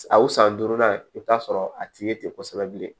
A o san duurunan i bɛ t'a sɔrɔ a ti ye ten kosɛbɛ bilen